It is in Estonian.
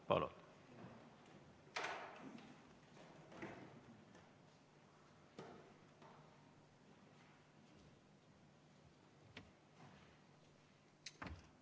Palun!